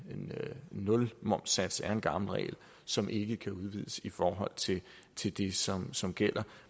nulmomssats er en gammel regel som ikke kan udvides i forhold til det som som gælder